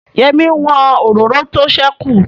Yẹ́mi n wọn òróró tó sẹ́kù